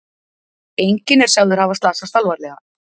Enginn er sagður hafa slasast alvarlega